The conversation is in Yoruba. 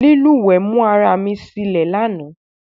Lílùwé mú ara mi silé lánàá